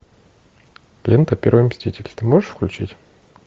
лента первый мститель ты можешь включить